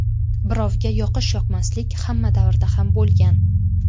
Birovga yoqish-yoqmaslik hamma davrda ham bo‘lgan.